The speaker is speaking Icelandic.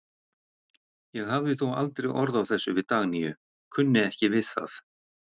Ég hafði þó aldrei orð á þessu við Dagnýju, kunni ekki við það.